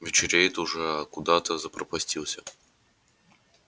вечереет уже а куда-то запропастился